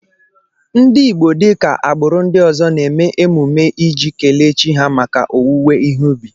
Ndị Igbo dịka agbụrụ ndị ọzọ na-eme emume iji kelee chi ha maka owuwe ihe ubi